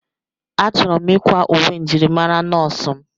Achọrọ m ịkwa uwe njirimara nọọsụ m.